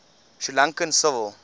sri lankan civil